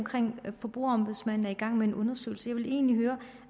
forbrugerombudsmanden er i gang med en undersøgelse jeg vil egentlig høre